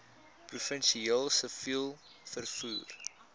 professioneel siviel vervoer